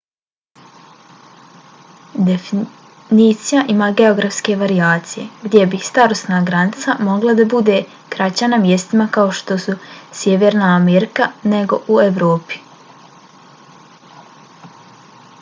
definicija ima geografske varijacije gdje bi starosna granica mogla da bude kraća na mjestima kao što su sjeverna amerika nego u evropi